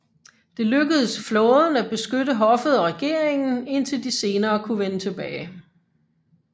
Det lykkedes flåden at beskytte hoffet og regeringen indtil de senere kunne vende tilbage